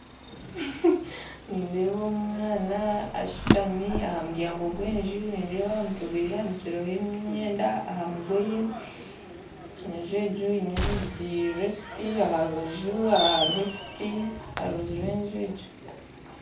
Nindeeba omwana ashitami ha muryango gwa enju nindeeba aha mutwe gweye ahanikirweho emyenda aha mugoye na enju egi eine orwigyi rwa ekiti aha rubaju hariyo ekiti aha rubaju rwa enju egi